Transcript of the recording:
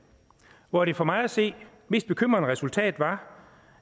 hvor det for mig at se mest bekymrende resultat var